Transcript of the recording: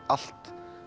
allt